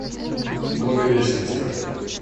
благовещенска